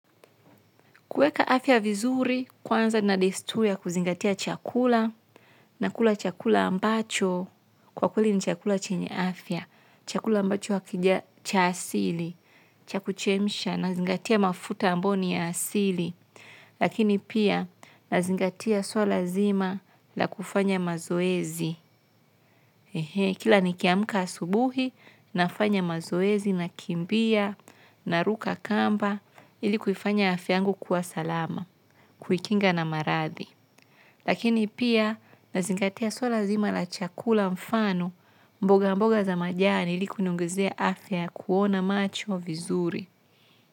Kuweka afya vizuri, kuanza na desturi ya kuzingatia chakula, nakula chakula ambacho, kwa kweli ni chakula chenye afya, chakula ambacho hakija cha asili, cha kuchemsha, nazingatia mafuta ambayo ni ya asili. Lakini pia, nazingatia suala zima la kufanya mazoezi. Kila nikiamka asubuhi, nafanya mazoezi, nakimbia, naruka kamba, ili kuifanya afya yangu kuwa salama. Kuikinga na maradhi. Lakini pia nazingatia suala zima la chakula mfano mboga mboga za majani ili kuniongezea afya ya kuona macho vizuri.